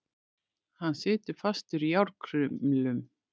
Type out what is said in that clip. Hann situr fastur í járnkrumlum.